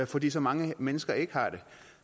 fordi så mange mennesker ikke har det